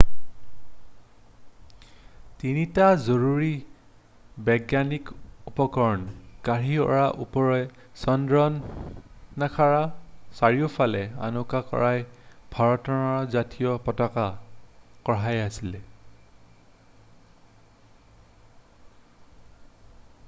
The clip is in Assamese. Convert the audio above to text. তিনিটা জৰুৰী বৈজ্ঞানিক উপকৰণ কঢ়িওৱাৰ উপৰিও চন্দ্ৰযানখনৰ চাৰিওফালে অংকন কৰা ভাৰতৰ জাতীয় পতাকা কঢ়িয়াইছিল